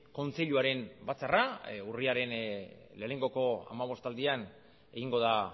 kontseiluaren batzarra urriaren lehenengoko hamabostaldian egingo da